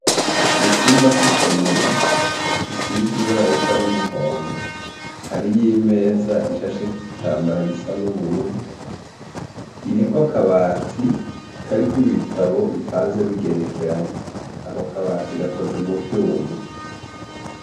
Mu cumba c'isomero gisize ibara risa n'umuhondo, hariyo imeza ishasheko igitambara gisa n'ubururu, iriko akabati kariko ibitabo bipanze bigerekeranye. Ako kabati gakoze mu vyuma.